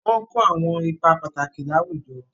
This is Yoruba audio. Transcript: Wọ́n ń kó àwọn ipá pàtàkì láwùjọ.